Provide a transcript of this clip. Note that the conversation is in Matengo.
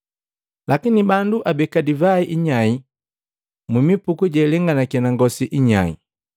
Lakini bandu abeka divai inyae mumipuku jealenganaki na ngosi inyae!